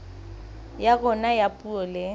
ya rona ya puo le